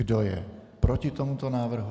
Kdo je proti tomuto návrhu?